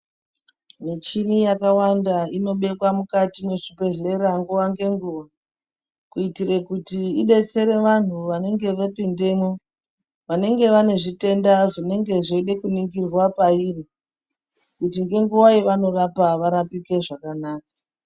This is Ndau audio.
Michini yakawanda inobekwa mukati mwechibhedhlera nguva ngenguva. Kuitire kuti idetsere vanhu vanenge vepindemwo vanenge vane zvitenda zvinenge zveide kuningirwa pairi. Kuti ngenguva yevanorapwa varapike zvakanaka.